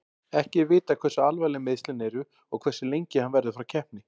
Ekki er vitað hversu alvarleg meiðslin eru og hversu lengi hann verður frá keppni.